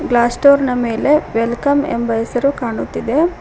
Plaster ನ ಮೇಲೆ welcome ಎಂಬ ಹೆಸರು ಕಾಣುತ್ತಿದೆ.